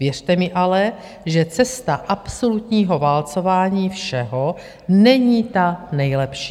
Věřte mi ale, že cesta absolutního válcování všeho není ta nejlepší.